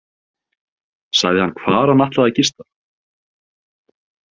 Sagði hann hvar hann ætlaði að gista?